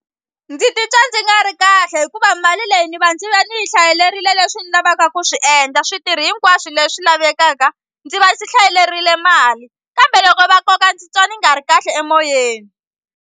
Ndzi titwa ndzi nga ri kahle hikuva mali leyi ni va ndzi va ndzi yi hlayelerile leswi ni lavaka ku swi endla switirhi hinkwaswo leswi lavekaka ndzi va ndzi hlayalerile mali kambe loko va koka ndzi twa ndzi nga ri kahle emoyeni.